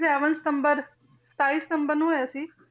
Seven ਸਤੰਬਰ ਸਤਾਈ ਸਤੰਬਰ ਨੂੰ ਹੋਇਆ ਸੀ।